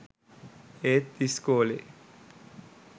ඒත් ඉස්කෝලේ